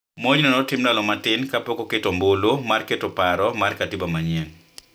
Monjno ne otim ndalo matin ka pok otim ombulu mar keto paro mar katiba mane